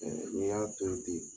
N'i y'a to in ten